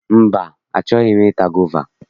Mba, achọghi m i ta gova.